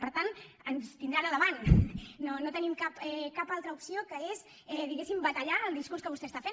per tant ens tindran al davant no tenim cap altra opció que no sigui diguéssim batallar el discurs que vostè està fent